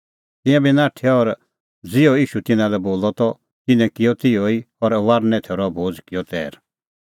तिंयां बी नाठै और ज़िहअ ईशू बोलअ तिन्नां लै त तिन्नैं किअ तिहअ ई और फसहे थैरो भोज़ किअ तैर